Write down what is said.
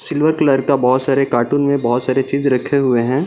Silver colour का बहुत सारे कार्टून में बहुत सारी चीज रखे हुए हैं।